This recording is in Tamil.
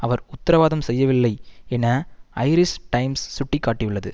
அவர் உத்தரவாதம் செய்யவில்லை என ஐரிஸ் டைம்ஸ் சுட்டி காட்டியுள்ளது